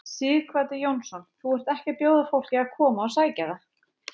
Sighvatur Jónsson: Þú ert ekki að bjóða fólki að koma og sækja það?